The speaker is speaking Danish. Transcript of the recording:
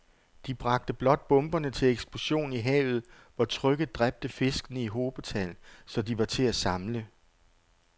De bragte blot bomberne til eksplosion i havet, hvor trykket dræbte fiskene i hobetal, så de var til at samle